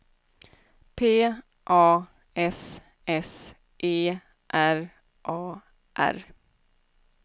P A S S E R A R